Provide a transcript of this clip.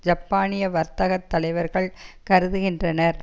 ஜப்பானிய வர்த்தகத் தலைவர்கள் கருதுகின்றனர்